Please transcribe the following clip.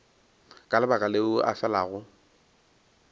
ka lebaka leo o felago